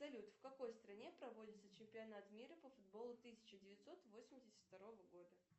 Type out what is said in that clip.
салют в какой стране проводится чемпионат мира по футболу тысяча девятьсот восемьдесят второго года